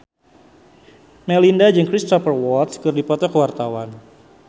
Melinda jeung Cristhoper Waltz keur dipoto ku wartawan